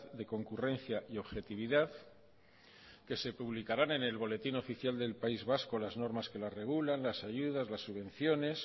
de concurrencia y objetividad que se publicarán en el boletín oficial del país vasco las normas que las regulan las ayudas las subvenciones